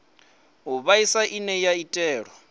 u vhaisa ine ya itelwa